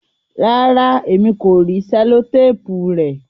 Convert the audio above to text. Ràrá, ẹ̀mi kò ríì sẹ̀lọ̀tàpù rè